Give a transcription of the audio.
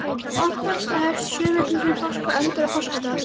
Langafasta hefst sjö vikum fyrir páska og endar á páskadag.